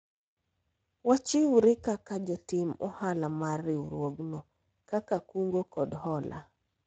wachiwre kaka jotim ohala mar riwruogno mar kungo kod hola